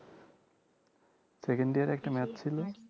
second year এ একটা math ছিল